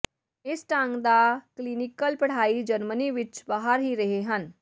ਇਸ ਢੰਗ ਦਾ ਕਲੀਨੀਕਲ ਪੜ੍ਹਾਈ ਜਰਮਨੀ ਵਿਚ ਬਾਹਰ ਹੀ ਰਹੇ ਹਨ